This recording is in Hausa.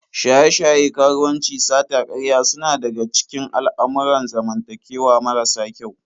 Shaye-shaye, karuwanci, sata, karya suna daga cikin al'amurran zamantakewa marasa kyau.